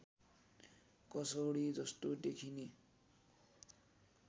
कसौडी जस्तो देखिने